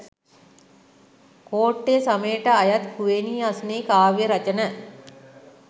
කෝට්ටේ සමයට අයත් කුවේණී අස්නෙහි කාව්‍ය රචන